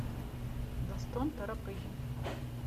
достон торопыгин